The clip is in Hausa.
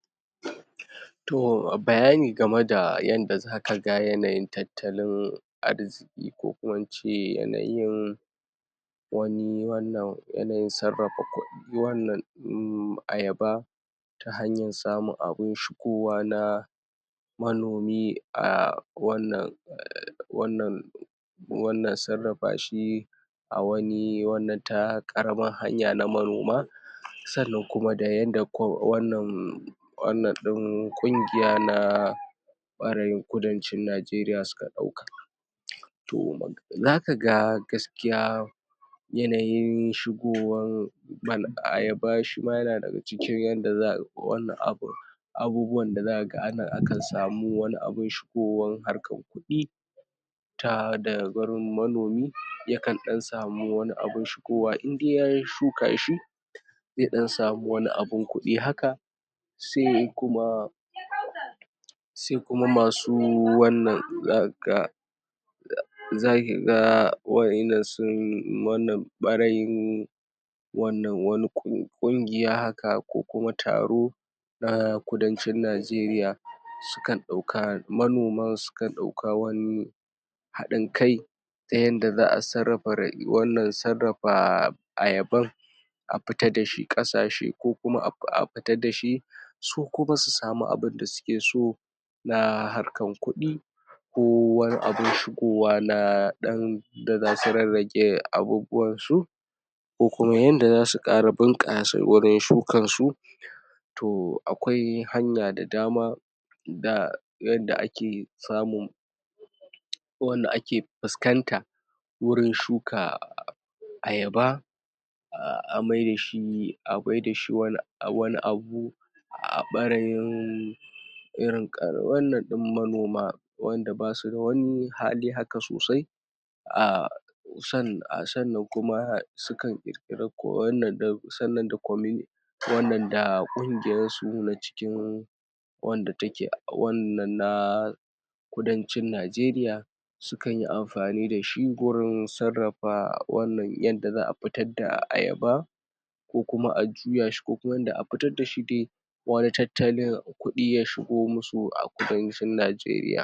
? To bayani game da yanda zaka ga yanayin tattalin arziƙi ko kuma in ce yanayin wani wannan yanayin sarrafa kuɗi wannan uhmm Ayaba ta hanyar samun abin shigowa na manomi a wannan? wannan wannan sarrafa shi a wani wannan ta ƙaramar hanya na manoma sannna kuma da yanda ko wannan wannan ɗin ƙungiya na ɓarayin kudancin Najeriya suka ɗauka to zaka ga gaskiya yanayin shigowan? Ayaba shi ma yana daga cikin yanda za ai wani abin abubuwan da za ka ana akan samu abin shigowan harkar kuɗi ta daga wurin manomi yakan ɗan samu wani abin shigowa indai yayi shukanshi zai ɗan samu wani abin kuɗi haka se kuma ke kausar sai kuma masu wannan?? zaki ga wa'yanna sun wannan ɓarayin wannan wani ƙungiya haka ko kuma taro na kudancin Najeriya sukan ɗauka manoma sukan ɗauka wani haɗin kai ta yadda za a sarrafa rayuwan sarrafa Ayaban a fita da shi ƙasashe ko kuma af a fita da shi su kuma su samu abinda suke so na harkar kuɗi ko wani abin shigowa na ɗan da za su rarrage abubuwansu ko kuma yanda za su ƙara bunƙasa wurin shukansu to akwai hanya da dama da yadda ake samun wanda ake fuskanta wurin shuka Ayaba a maida shi a maida shi wan wani abu a ɓarayin wurin ƙar wannan ɗin manoma wanda ba su da wani hali haka sosai a sannin a sannan kuma sukan ƙirƙiri kowanne ɗin sannan da kuma comi wannan da ƙungiyarsu na cikin wanda take wannan na kudancin Najeriya sukan yi amfani da shi gurin sarrafa wannan yadda za a fitar da a Ayaba ko kuma a juya shi a fitar da shi de? tattalin kuɗi ya shigo musu a kudancin Najeriya